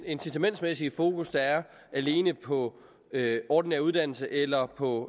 incitamentsmæssige fokus der er alene på ordinær uddannelse eller på